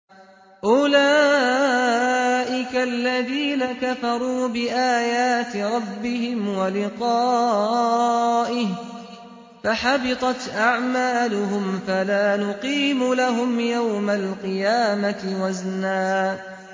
أُولَٰئِكَ الَّذِينَ كَفَرُوا بِآيَاتِ رَبِّهِمْ وَلِقَائِهِ فَحَبِطَتْ أَعْمَالُهُمْ فَلَا نُقِيمُ لَهُمْ يَوْمَ الْقِيَامَةِ وَزْنًا